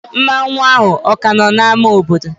Mmanwu ahụ o ka no n'ámá obodo?